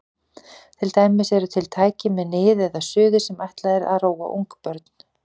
Til dæmis eru til tæki með nið eða suði sem ætlað er að róa ungbörn.